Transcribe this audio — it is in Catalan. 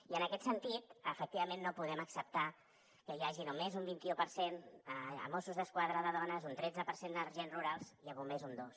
i en aquest sentit efectivament no podem acceptar que hi hagi només un vint i u per cent a mossos d’esquadra de dones un tretze per cent d’agents rurals i a bombers un dos